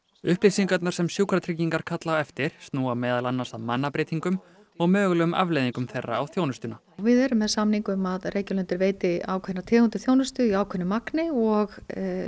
upplýsingarnar sem Sjúkratryggingar kalla eftir snúa meðal annars að mannabreytingum og mögulegum afleiðingum þeirra á þjónustuna við erum með samning um að Reykjalundur veiti ákveðna tegund af þjónustu í ákveðnu magni og